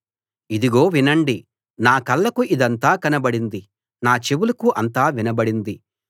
ఇదిగో వినండి నా కళ్ళకు ఇదంతా కనబడింది నా చెవులకు అంతా వినబడింది